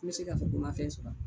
N me se ka fɔ ko ma fɛn sɔrɔ